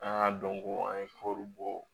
An y'a dɔn ko an ye kɔri bɔ